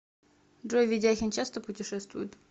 джой ведяхин часто путешествует